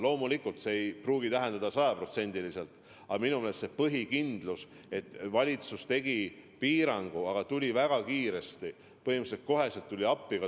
Loomulikult see ei pruugi tähendada sajaprotsendilist kindlust, aga minu meelest on põhiline, et valitsus tegi piirangu, aga tuli väga kiiresti toetustega appi.